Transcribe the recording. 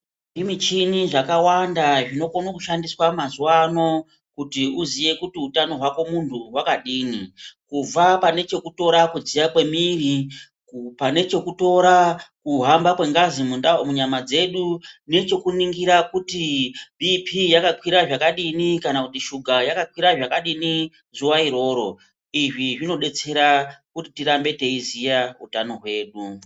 Kune zvimichini zvakawanda zvinokone kushandiswa mazuwa ano kuti uziye kuti utano hwako munhu hwakamira sei. Kubva pane chekutora kupisha kwemiri, chekutora kuhambe kwengazi munyama mwedu nechekuningira kuti bhiipii neshuga kuti yakakwira zvakadini zuwa iroro. Izvi zvinodetsera kuti tirambe teiziya utano hwedu.